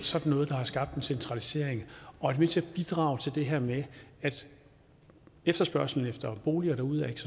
sådan noget der har skabt en centralisering og er med til at bidrage til det her med at efterspørgslen efter boliger derude ikke